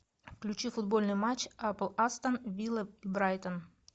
включи футбольный матч апл астон вилла брайтон